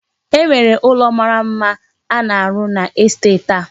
E nwere ụlọ mara mma a na-arụ n'estet a.